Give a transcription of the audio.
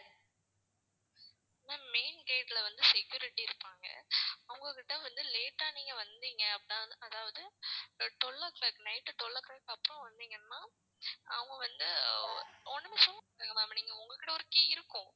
ma'am main gate ல வந்து security இருப்பாங்க அவங்க கிட்ட வந்து late ஆ நீங்க வந்தீங்க அப்படின்னா அதாவது twelve o'clock night twelve o'clock அப்புறம் வந்தீங்கன்னா அவங்க வந்து ஒண்ணுமே சொல்ல மாட்டாங்க ma'am உங்ககிட்ட ஒரு key இருக்கும்.